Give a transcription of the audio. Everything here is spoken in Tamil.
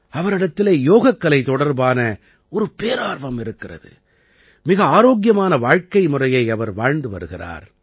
அவரிடத்திலே யோகக்கலை தொடர்பான ஒரு பேரார்வம் இருக்கிறது மிக ஆரோக்கியமான வாழ்க்கைமுறையை அவர் வாழ்ந்து வருகிறார்